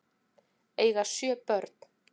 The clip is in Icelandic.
Eiga sjö börn